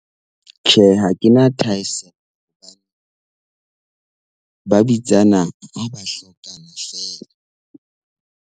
Tjhe, ha ke na thahasello hobane ba bitsana ha ba hlokana feela.